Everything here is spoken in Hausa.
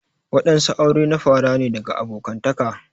Wadansu aure na fara ne daga abokantaka.